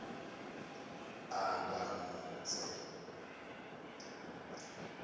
akamudze